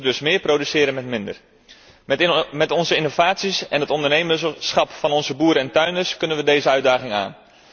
We moeten dus meer produceren met minder. Met onze innovaties en het ondernemerschap van onze boeren en tuinders kunnen we deze uitdaging aan.